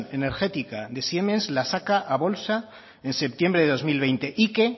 energética de siemens la saca a bolsa en septiembre de dos mil veinte y que